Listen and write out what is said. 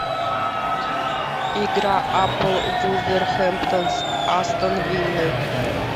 игра апл вулверхемптон с астон виллой